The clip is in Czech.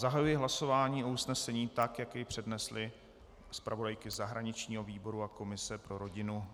Zahajuji hlasování o usnesení tak, jak jej přednesly zpravodajky zahraničního výboru a komise pro rodinu.